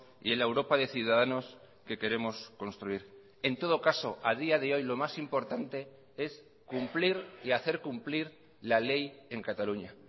y en la europa de ciudadanos que queremos construir en todo caso a día de hoy lo más importante es cumplir y hacer cumplir la ley en cataluña